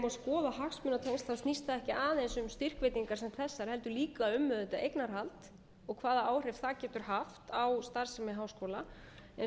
að skoða hagsmunatengsl snýst það ekki aðeins um styrkveitingar sem þessar heldur líka um auðvitað eignarhald og hvaða áhrif það getur haft á starfsemi háskólans eins og